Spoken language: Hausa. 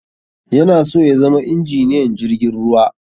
Yana so ya zama injiniyan jirgin ruwa